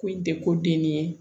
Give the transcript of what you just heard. Ko in tɛ ko den ne ye